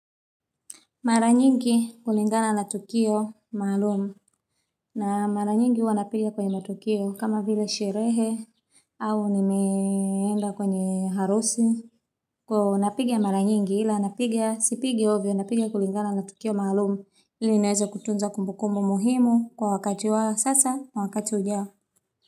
Mara nyingi kulingana na tukio maalumu. Na mara nyingi huwa napika kwenye matukio kama vile sherehe au nimeenda kwenye harusi. Kwa napika mara nyingi ila napika sipiki ovyo napika kulingana na tukio maalumu ili niweze kutunza kumbukumbu muhimu kwa wakati wa sasa kwa wakati ujao.